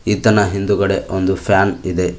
ಈತನ ಹಿಂದುಗಡೆ ಒಂದು ಫ್ಯಾನ್ ಇದೆ.